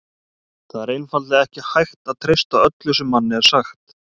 Það er einfaldlega ekki hægt að treysta öllu sem manni er sagt.